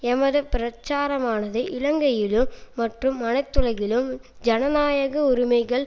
எமது பிரச்சாரமானது இலங்கையிலும் மற்றும் அனைத்துலகிலும் ஜனநாயக உரிமைகள்